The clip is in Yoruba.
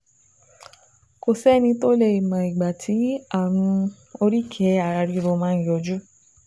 Kò sẹ́ni tó lè mọ ìgbà tí ààrùn oríkèé-ara-ríro máa ń yọjú